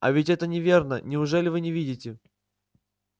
а ведь это неверно неужели вы не видите